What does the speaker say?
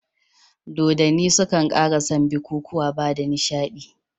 Dodonni sukan ƙara san bikukuwa bada nishiɗi.